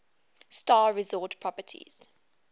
star resort properties